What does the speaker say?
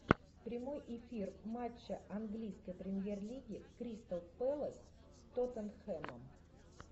прямой эфир матча английской премьер лиги кристал пэлас с тоттенхэмом